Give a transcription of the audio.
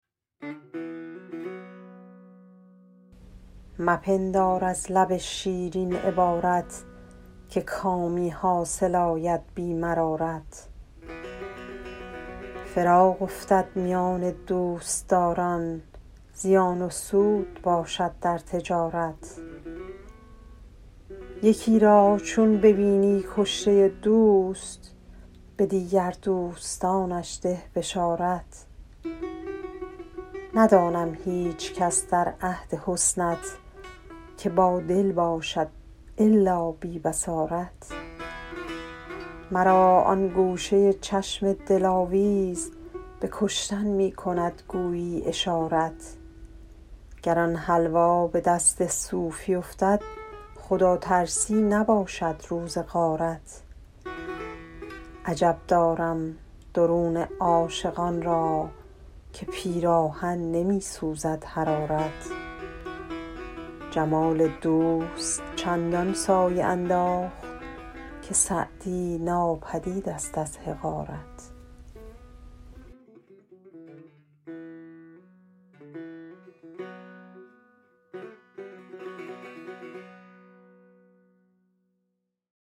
مپندار از لب شیرین عبارت که کامی حاصل آید بی مرارت فراق افتد میان دوستداران زیان و سود باشد در تجارت یکی را چون ببینی کشته دوست به دیگر دوستانش ده بشارت ندانم هیچکس در عهد حسنت که بادل باشد الا بی بصارت مرا آن گوشه چشم دلاویز به کشتن می کند گویی اشارت گر آن حلوا به دست صوفی افتد خداترسی نباشد روز غارت عجب دارم درون عاشقان را که پیراهن نمی سوزد حرارت جمال دوست چندان سایه انداخت که سعدی ناپدید ست از حقارت